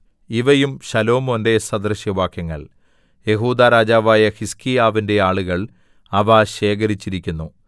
ഇവയും ശലോമോന്റെ സദൃശവാക്യങ്ങൾ യെഹൂദാ രാജാവായ ഹിസ്ക്കീയാവിന്റെ ആളുകൾ അവ ശേഖരിച്ചിരിക്കുന്നു